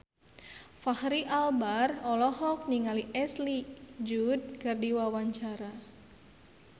Fachri Albar olohok ningali Ashley Judd keur diwawancara